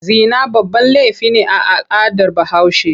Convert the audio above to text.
Zina babban laifi ne a al'adar Bahaushe.